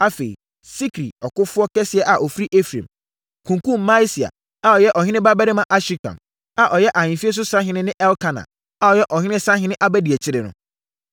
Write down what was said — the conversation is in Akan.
Afei, Sikri, ɔkofoɔ kɛseɛ a ɔfiri Efraim, kunkumm Maaseia a ɔyɛ ɔhene babarima Asrikam, a ɔyɛ ahemfie so sahene ne Elkana, a ɔyɛ ɔhene sahene abadiakyire no.